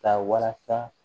Ka walasa